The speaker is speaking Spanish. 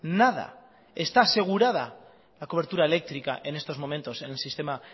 nada está asegurada la cobertura eléctrica en estos momentos en el sistema